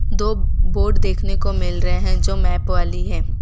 दो बोर्ड देखने को मिल रहे हैं जो मैप वाली है।